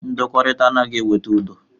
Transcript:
Ndọkọrita anaghị eweta udo.